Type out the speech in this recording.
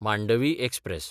Mandovi express